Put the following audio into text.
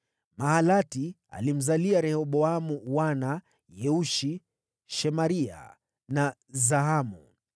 Mahalati alimzalia Rehoboamu wana: Yeushi, Shemaria na Zahamu.